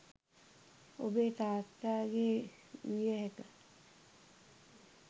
ඔබේ තාත්තා ගේ විය හැක